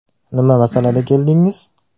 Nima masalada keldingiz?